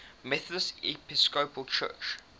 methodist episcopal church